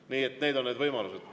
Nii et need on need võimalused.